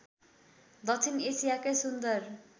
दक्षिण एसियाकै सुन्दर